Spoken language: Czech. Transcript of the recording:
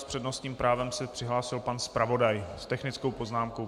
S přednostním právem se přihlásil pan zpravodaj s technickou poznámkou.